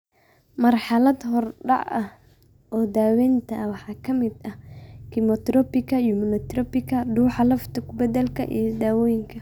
Marxalad horudhac ah oo daawaynta ah waxaa ka mid ah kiimoterabika, immunotherapyka, dhuuxa lafta ku beddelka, iyo dawooyinka.